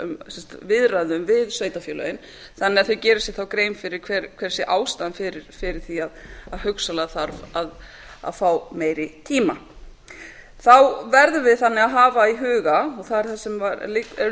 um viðræðu við sveitarfélagið þannig að þeir geri sér þá grein fyrir hver sé ástæðan fyrir því að hugsanlega þarf að fá meiri tíma þá verðum við að hafa í huga og það er það sem er